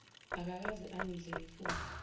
akakaze angidle ngifunga